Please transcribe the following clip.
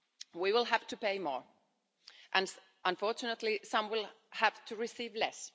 We will have to pay more and, unfortunately, some will have to receive less.